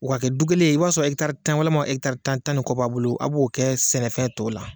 O ka kɛ du kelen ye i b'a sɔrɔ tan walima tan ni kɔ b'a bolo a b'o kɛ sɛnɛfɛn tɔw la.